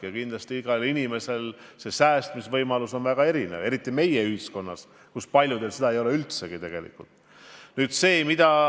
Aga kindlasti on inimeste säästmisvõimalus väga erinev, eriti meie ühiskonnas, kus paljudel ei ole tegelikult üldse seda, mida säästa.